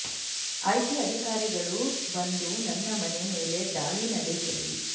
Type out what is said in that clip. IT ಅಧಿಕಾರಿಗಳು ಬಂದು ನನ್ನ ಮನೆ ಮೇಲೆ ದಾಳಿ ನಡೆಸಲಿ